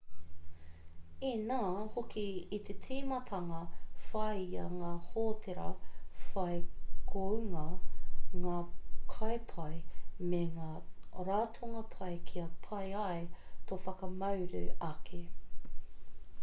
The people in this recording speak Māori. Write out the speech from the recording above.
inā hoki i te tīmatanga whāia ngā hōtēra whai kounga ngā kai pai me ngā ratonga pai kia pai ai tō whakamauru ake